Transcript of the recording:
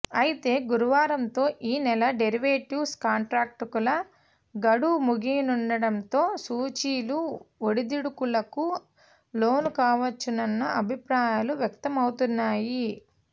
అయితే గురువారంతో ఈ నెల డెరివేటివ్స్ కాంట్రాక్టుల గడువు ముగియనుండటంతో సూచీలు ఒడిదుడుకులకు లోనుకావచ్చన్న అభిప్రాయాలు వ్యక్తమవుతున్నాయి